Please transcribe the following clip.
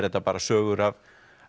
þetta bara sögur af